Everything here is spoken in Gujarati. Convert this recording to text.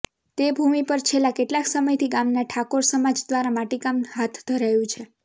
તે ભુમિ પર છેલ્લા કેટલાક સમયથી ગામના ઠાકોર સમાજ દ્વારા માટીકામ હાથ ધરાયું છે